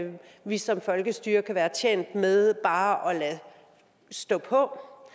vi som folkestyre kan være tjent med bare at lade stå på